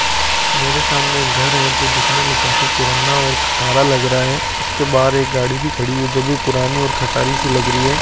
मेरे सामने एक घर है जो दिखने में काफी पुराना और खटारा लग रहा है इसके बाहर एक गाड़ी भी खड़ी है जो भी पुरानी और खटारी सी लग रही है।